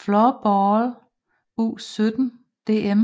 Floorball U17 DM